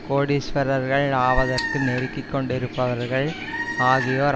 கோடீஸ்வரர்கள் ஆவதற்கு நெருக்கிக் கொண்டிருப்பவர்கள் ஆகியோர்